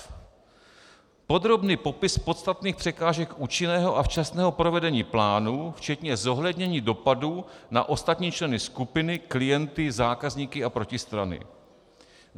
f) podrobný popis podstatných překážek účinného a včasného provedení plánu, včetně zohlednění dopadu na ostatní členy skupiny, klienty, zákazníky a protistrany,